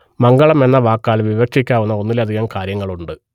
മംഗളം എന്ന വാക്കാൽ വിവക്ഷിക്കാവുന്ന ഒന്നിലധികം കാര്യങ്ങളുണ്ട്